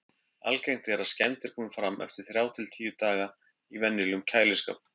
Algengt er að skemmdir komi fram eftir þrjá til tíu daga í venjulegum kæliskáp.